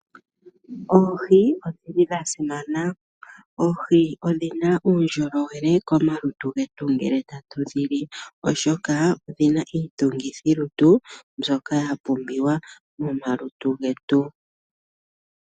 Oohi odhili dha simana. Oohi odhina uundjolowele komalutu getu ngele tatu dhili, oshoka odhina iitungithi lutu mbyoka ya pumbiwa momalutu getu.